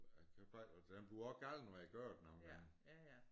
Og jeg kan bare og den bliver også gal når jeg gør det nu men